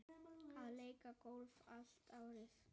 Að leika golf allt árið.